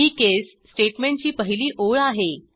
ही case स्टेटमेंटची पहिली ओळ आहे